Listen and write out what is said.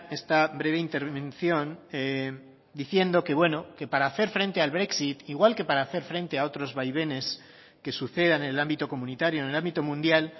esta breve intervención diciendo que bueno que para hacer frente al brexit igual que para hacer frente a otros vaivenes que sucedan en el ámbito comunitario en el ámbito mundial